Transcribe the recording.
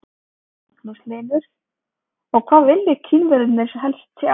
Magnús Hlynur: Og hvað vilja Kínverjarnir helst sjá?